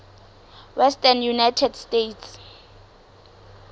western united states